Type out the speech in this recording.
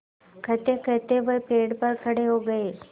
कहतेकहते वह पेड़ पर खड़े हो गए